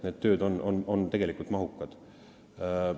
Need tööd on mahukad.